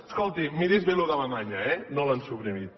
escolti miri’s bé això d’alemanya eh no l’han suprimit